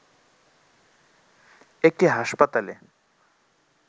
একটি হাসপাতালে